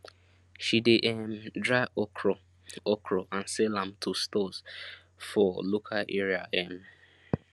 she de um dry okro okro and sell am to stores for local area um